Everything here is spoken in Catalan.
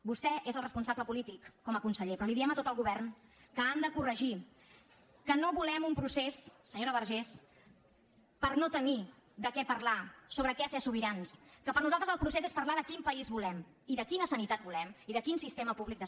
vostè és el responsable polític com a conseller però li diem a tot el govern que han de corregir que no volem un procés senyora vergés per no tenir de què parlar sobre què ser sobirans que per nosaltres el procés és parlar de quin país volem i de quina sanitat volem i de quin sistema públic de sanitat volem